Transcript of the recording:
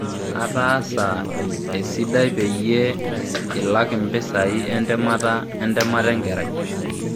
etaasa esidai peyie ilak mpisai entemata entemata enkerai